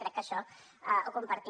crec que això ho compartim